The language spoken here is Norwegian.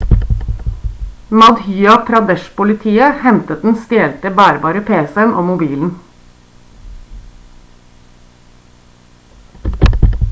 madhya pradesh-politiet hentet den stjelte bærbare pc-en og mobilen